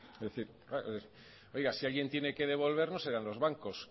es decir oiga si alguien tiene que devolver no serán los bancos